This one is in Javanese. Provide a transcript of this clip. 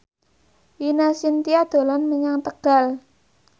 Ine Shintya dolan menyang Tegal